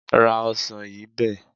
Ra ọsàn yìí bẹ́ẹ̀.